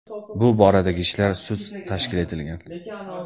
Bu boradagi ishlar sust tashkil etilgan.